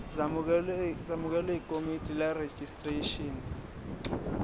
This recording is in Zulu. zamukelwe yikomidi lerejistreshini